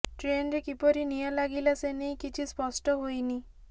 ଟ୍ରେନ୍ରେ କିପରି ନିଆଁ ଲାଗିଲା ସେ ନେଇ କିଛି ସ୍ପଷ୍ଟ ହୋଇନି